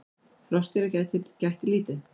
Froskdýra gætti lítið.